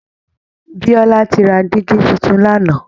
Biola ti ra dígí tuntun lánàá